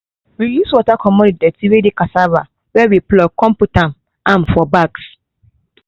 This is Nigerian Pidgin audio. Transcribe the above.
we use water comot the dirty wey dey cassava wey we pluck con put am am for bags